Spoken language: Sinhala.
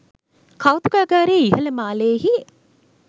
කෞතුකාගාරයේ ඉහල මාලයෙහි